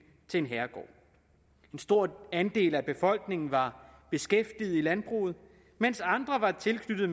til en herregård en stor andel af befolkningen var beskæftiget i landbruget mens andre var tilknyttet